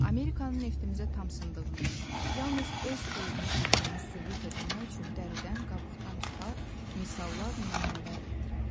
Amerikanın neftimizə tam sındığını, yalnız öz xeyrini güddüyünü sübut eləmək üçün dəridən-qabıqdan çıxar, misallar, nümunələr gətirərdi.